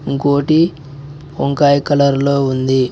ఇంకోటి వంకాయ కలర్ లో ఉంది.